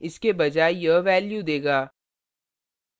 इसके बजाय यह value देगा